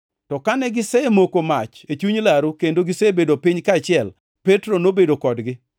To kane gisemoko mach e chuny laru kendo gisebedo piny kaachiel, Petro nobedo kodgi.